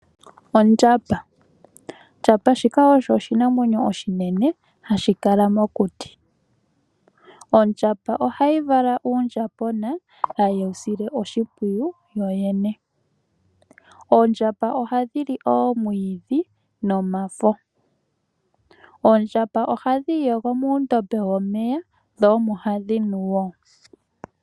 Ondjamba osho oshinamwenyo oshinene hashi kala mokuti. Ondjamba ohayi vala uundjambona, haye wu sile oshimpwiyu yoyene. Oondjamba ohadhi li oomwiidhi nomafo. Oondjamba ohadhi iyogo muundombe womeya dho omo hadhi nu wo.